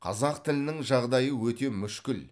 қазақ тілінің жағдайы өте мүшкіл